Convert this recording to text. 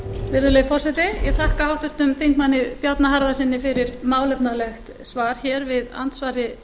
virðulegi forseti ég þakka háttvirtum þingmanni bjarna harðarsyni fyrir málefnalegt svar hér við andsvari